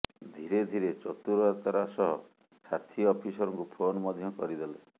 ଧୀରେ ଧୀରେ ଚତୁରତାର ସହ ସାଥି ଅଫିସରଙ୍କୁ ଫୋନ୍ ମଧ୍ୟ କରିଦେଲେ